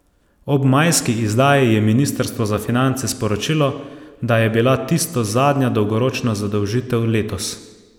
Ob majski izdaji je ministrstvo za finance sporočilo, da je bila tisto zadnja dolgoročna zadolžitev letos.